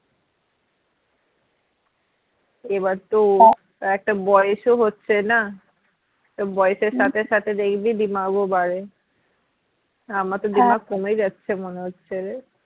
এবারতো একটা বয়েস ও হচ্ছে না তো বয়েসের সাথে সাথে দেখবি দিমাগ ও বাড়ে আমারতো কমে যাচ্ছে মনে হচ্ছে রে